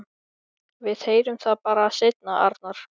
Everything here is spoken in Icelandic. Við heyrum það bara seinna, Arnar.